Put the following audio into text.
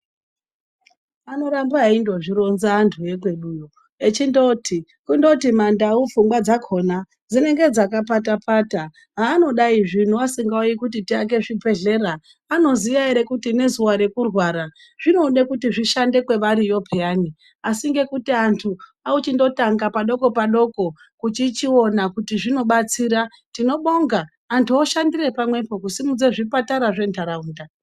Anotamba eindozvironza antu ekweduyo echindoti kundoti mandau pfungwa dzakona dzinenge dzakapata pata haanodai zvino asingaiti kuti tiwake zvibhedhlera anoziya ere kuti ngezuwa rekurwara zvinode kuti zvishande kwevariyo peyani asi ngekuti antu ochindotanga padoko padoko kuchichiona kuti zvinobatsira tinobabonga antu oshandire pamwepo kusimudza zvipatara zventaraunda.